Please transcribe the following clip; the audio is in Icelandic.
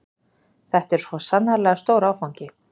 Þetta er svo sannarlega stór áfangi